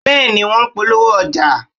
Bẹ́ẹ̀ ni, wọ́n polówó ọjà